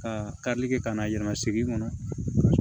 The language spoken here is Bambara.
Ka karili kɛ ka n'a yɛlɛma segin kɔnɔ